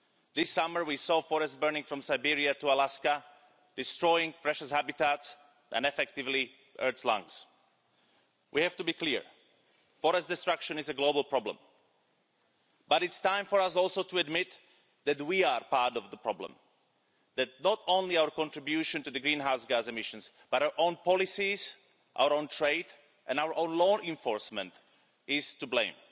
This summer, we saw forests burning from Siberia to Alaska, destroying precious habitats and, effectively, the Earth's lungs. We have to be clear forest destruction is a global problem. But it is also time for us to admit that we are part of the problem that not only our contribution to greenhouse gas emissions, but also our own policies, our own trade and our own law enforcement are to blame.